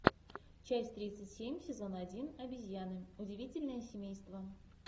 часть тридцать семь сезон один обезьяны удивительное семейство